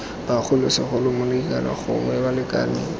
bogolo segolo molekane gongwe balekane